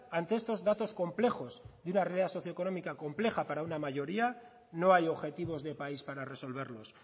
ante estos datos complejos de una realidad socioeconómica compleja para una mayoría no hay objetivos de país para resolverlos